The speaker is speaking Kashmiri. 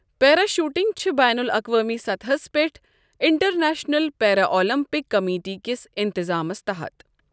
پیرا شوٹنگ چھِ بین الاقوامی سطحس پٮ۪ٹھ انٹرنیشنل پیرا اولمپک کمیٹی کِس انتِظامس تحت۔